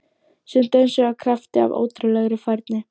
Sem dönsuðu af krafti- af ótrúlegri færni